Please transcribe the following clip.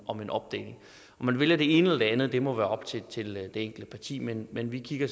om en opdeling om man vælger det ene eller det andet må være op til til det enkelte parti men men vi kigger